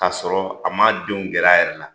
Ka sɔrɔ a ma denw gɛra a yɛrɛ la.